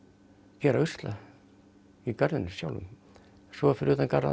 gera usla í garðinum sjálfum og svo fyrir utan garðinn